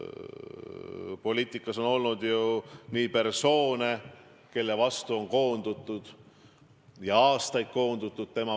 Poliitikas on olnud ju persoone, kelle vastu on koondutud, ja aastaid on koondutud.